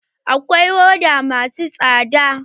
Akwai hoda masu tsada.